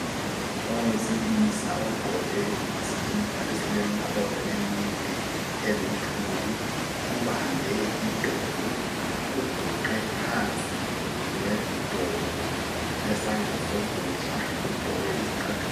Owesilisa ogqoke iskipa esilemkhono emide eluthuli ubambe idolo uguqe phansi ngedolo lesandla sokudla. Ugqoke izicathulo.